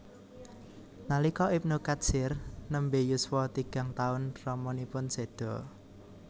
Nalika Ibnu Katsir nembe yuswa tigang taun ramanipun seda